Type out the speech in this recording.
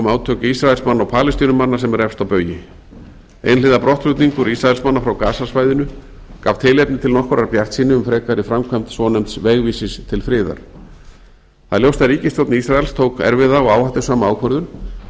átök ísraelsmanna og palestínumanna sem eru efst á baugi einhliða brottflutningur ísraelsmanna frá gaza svæðinu gaf tilefni til nokkurrar bjartsýni um frekari framkvæmd svonefnds vegvísis til friðar það er ljóst að ríkisstjórn ísraels tók erfiða og áhættusama ákvörðun